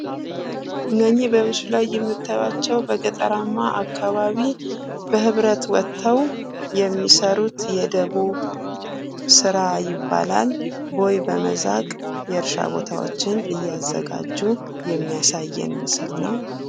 እነዚህ በምስሉ ላይ የምታዩአቸው በገጠራማ አካባቢ በህብረት ወጠው የሚሰሩት የደቦ ስራ ይባላል። ቦይ በመዛቅ የእርሻ ቦታዎችን ለማዘጋጀት የሚያሳይ ምስል ነው።